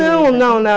Não, não